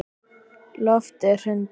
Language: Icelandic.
Loftið hrundi.